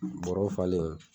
Barɔw falen.